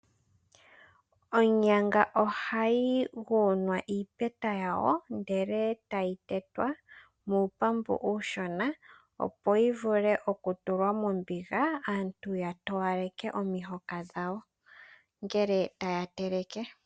Onyanga ohayi yugunwa iipeta yawo, e tayi tetwa muupambu uushona, opo yivule okutulwa mombiga, aantu yatowaleke omihoka dhawo, ngele taya teleke.